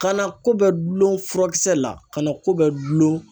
Kana ko bɛ gulon furakisɛ la kana ko bɛ gulon.